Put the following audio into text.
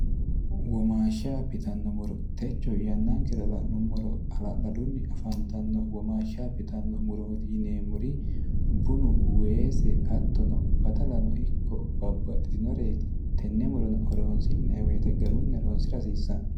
womaashsha bitanno muro techo yannaa kirala'nummoro ala'ladunni afantanno womaashsha bitanno murooti yineemmuri bunu weese attono badalano ikko babbaxxitinoreeti tenne murono oroonsi'neeweete garunni horoonsi rahasiissanno